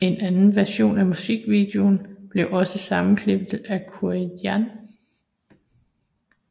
En anden version af musikvideoen blev også sammenklippet af Corbijn